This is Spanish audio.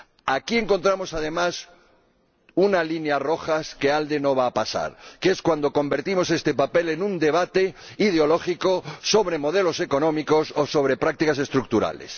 Aquí encontramos, además, una línea roja que el Grupo ALDE no va a pasar, que es cuando convertimos este papel en un debate ideológico sobre modelos económicos o sobre prácticas estructurales.